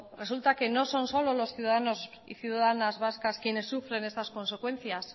resulta que no son solo los ciudadanos y ciudadanas vascas quienes sufren estas consecuencias